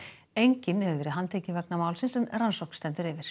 enginn hefur verið handtekinn vegna málsins en rannsókn stendur yfir